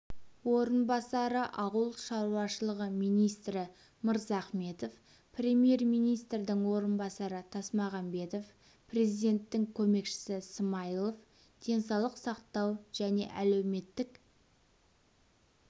орынбасары ауыл шаруашылығы министрі мырзахметов премьер-министрдің орынбасары тасмағамбетов президенттің көмекшісі смайылов денсаулық сақтау және әлеуметтік